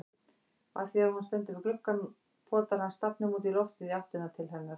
Og afþvíað hún stendur við gluggann potar hann stafnum útí loftið í áttina til hennar.